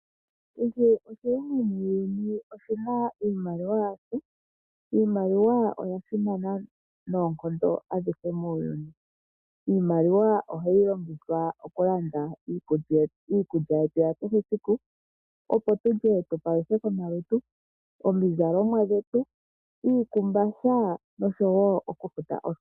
Kehe oshilongo muuyuni oshina iimaliwa yasho. Iimaliwa oya simana noonkondo adhihe muuyuni. Iimaliwa ohayi longithwa okulanda iikulya yetu ya kehesiku, opo tulye tu paluthe omalutu, omizalomwa dhetu, iikumbatha noshowo okufuta oosikola.